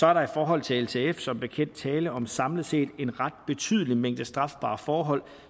er der i forhold til ltf som bekendt tale om samlet set en ret betydelig mængde strafbare forhold